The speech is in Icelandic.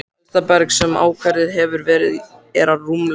Elsta berg, sem ákvarðað hefur verið, er rúmlega